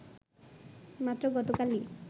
মাত্র গতকালই